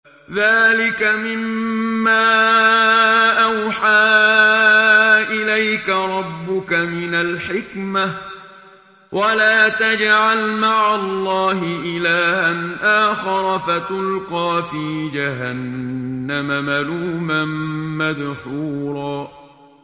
ذَٰلِكَ مِمَّا أَوْحَىٰ إِلَيْكَ رَبُّكَ مِنَ الْحِكْمَةِ ۗ وَلَا تَجْعَلْ مَعَ اللَّهِ إِلَٰهًا آخَرَ فَتُلْقَىٰ فِي جَهَنَّمَ مَلُومًا مَّدْحُورًا